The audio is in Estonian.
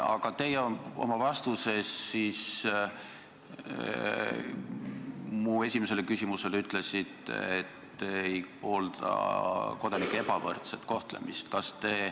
Aga teie oma vastuses mu esimesele küsimusele ütlesite, et ei poolda kodanike ebavõrdset kohtlemist.